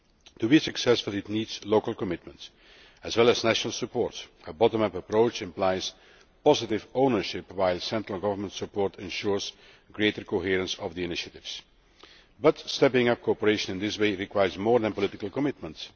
To be successful, it needs local commitment as well as national support a bottom up approach implies positive ownership, while central government support ensures greater coherence of the initiatives. But stepping up cooperation in this way requires more than political commitment